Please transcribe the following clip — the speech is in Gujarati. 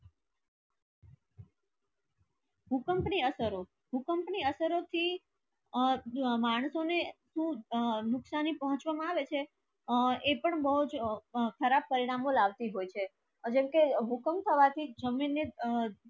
ભૂકંપ ની અસરો ભૂકંપ ની અસરો થી અ માનસનો ને અ નુક્સાની પૂછવાની આવે છે અ એ પણ ખરબ પરિનામો લવતી છે જેમકે ભૂકંપ સાવર થી જામી ને અ